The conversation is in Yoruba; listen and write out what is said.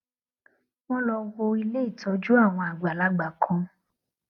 wón lọ wo ilé ìtójú àwọn àgbàlagbà kan